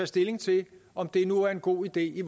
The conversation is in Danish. stilling til om det nu er en god idé i